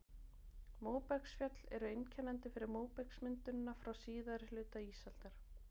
Móbergsfjöll eru einkennandi fyrir móbergsmyndunina frá síðari hluta ísaldar.